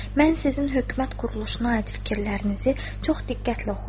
Mən sizin hökumət quruluşuna aid fikirlərinizi çox diqqətlə oxudum.